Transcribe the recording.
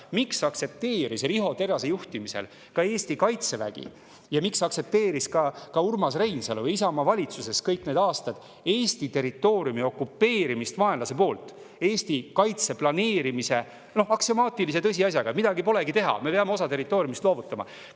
Miks aktsepteeris Riho Terrase juhtimisel Eesti Kaitsevägi ja miks aktsepteerisid ka Urmas Reinsalu ja Isamaa valitsuses olles kõik need aastad Eesti territooriumi okupeerimist vaenlase poolt, Eesti kaitse planeerimist koos aksiomaatilise tõsiasjaga, et midagi polegi teha, me peame osa territooriumist loovutama?